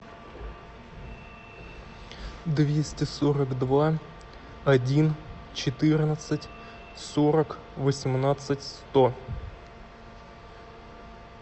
двести сорок два один четырнадцать сорок восемнадцать сто